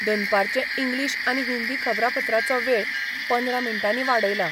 दनपारचे इंग्लीश आनी हिंदी खबरापत्राचो वेळ पंदरा मिनटांनी वाडयला.